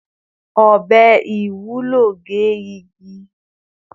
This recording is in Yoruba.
Ọbẹ Iwulo ge igi